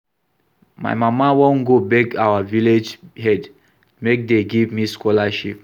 My mama wan go beg our village head make dey give me scholarship